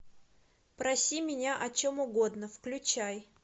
проси меня о чем угодно включай